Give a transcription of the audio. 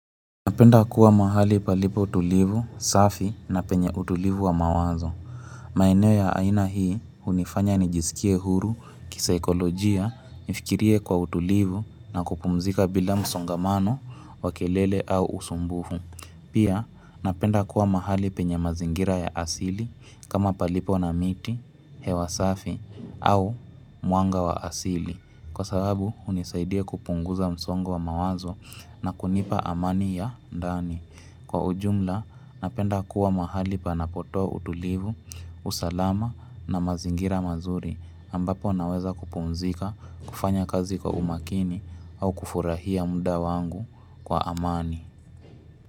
Napenda kuwa mahali palipo tulivu, safi na penye utulivu wa mawazo. Maeneo ya aina hii, hunifanya nijisikie huru, kisaikolojia, nifikirie kwa utulivu na kupumzika bila msongamano, wa kelele au usumbufu. Pia, napenda kuwa mahali penye mazingira ya asili, kama palipo na miti, hewa safi, au mwanga wa asili. Kwa sababu hunisaidia kupunguza msongo wa mawazo na kunipa amani ya ndani. Kwa ujumla napenda kuwa mahali panapotoa utulivu, usalama na mazingira mazuri ambapo naweza kupumzika, kufanya kazi kwa umakini au kufurahia mda wangu kwa amani.